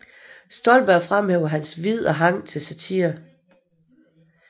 Stolberg fremhæver hans Vid og Hang til Satire